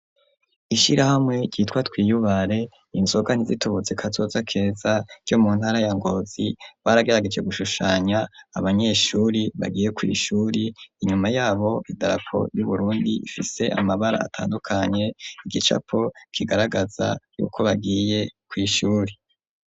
Ishira hamwe ryitwa twiyubare inzogani zitubuzi kazoza keza ryo mu ntara ya ngozi barageragije gushushanya abanyeshuri bagiye kw'ishuri inyuma yabo idarako ry'uburundi ifise amabara atandukanye igicapo kigaragaza yuko bagiye kw'ishuri.